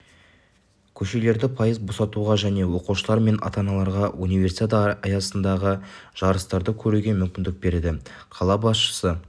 көшелерді пайыз босатуға және оқушылар мен ата-аналарға универсиада аясындағы жарыстарды көруге мүмкіндік береді қала басшысы